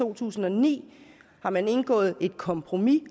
to tusind og ni har man indgået et kompromis